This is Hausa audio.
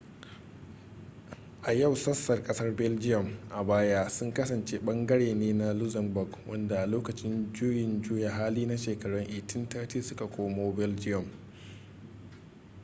a yau sassan kasar belgium a baya sun kasance ɓangare ne na luxembourg wadanda a lokacin juyin juya hali na shekarun 1830 su ka komo belgium